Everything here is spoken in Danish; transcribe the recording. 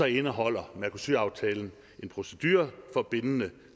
indeholder mercosur aftalen en procedure for bindende